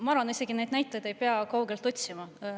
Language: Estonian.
Ma arvan, et neid näiteid ei pea isegi kaugelt otsima.